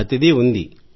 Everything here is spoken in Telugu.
ప్రతిదీ ఉంది